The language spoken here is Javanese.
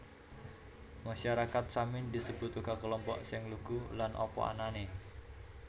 Masyarakat Samin disebat uga kelompok sing lugu lan apa anané